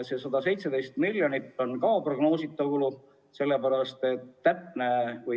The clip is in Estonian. See 117 miljonit on prognoositav kulu.